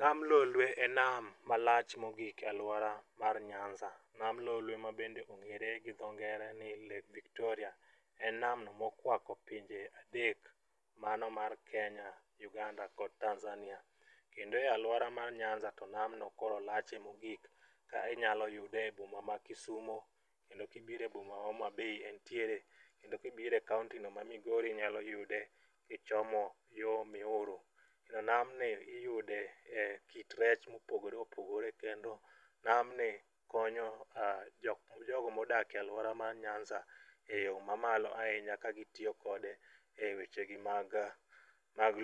Nam lolwe e nam malach mogik e alwora mar nyanza. Nam lolwe mabende ong'ere gi dho ngere ni Lake Victoria en namno mokwako pinje adek mano mar Kenya, Uganda kod Tanzania. Kendo e alwora mar nyanza to namno koro lache mogik ka inyalo yude e boma ma kisumo kendo kibiro e boma ma homabay entiere kendo kibiro e kaontino ma migori inyalo yude kichomo yo miuru. To namni iyude e kit rech mopogore opogore kendo namni konyo jogo modake alwora ma nyanza e yo mamalo ahinya ka gitiyo kode e wechegi mag